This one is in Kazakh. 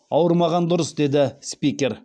ауырмаған дұрыс деді спикер